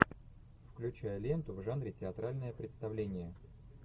включай ленту в жанре театральное представление